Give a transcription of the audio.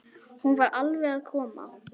Hún fer alveg að koma.